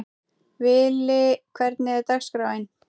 Vili, hvernig er dagskráin?